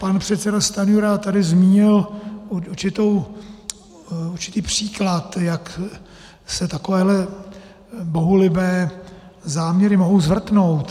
Pan předseda Stanjura tady zmínil určitý příklad, jak se takovéhle bohulibé záměry mohou zvrtnout.